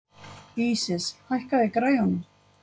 Ísis, hækkaðu í græjunum.